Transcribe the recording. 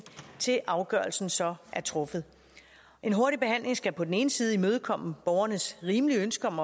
til afgørelsen så er truffet en hurtig behandling skal på den ene side imødekomme borgernes rimelige ønske om